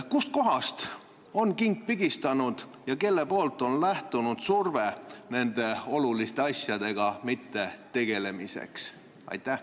Kust kohast on king pigistanud ja kust on lähtunud surve, et nende oluliste teemadega ei tegeletaks?